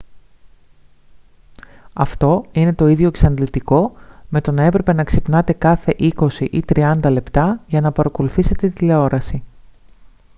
αυτό είναι το ίδιο εξαντλητικό με το να έπρεπε να ξυπνάτε κάθε είκοσι ή τριάντα λεπτά για να παρακολουθήσετε τηλεόραση